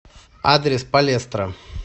адрес палестра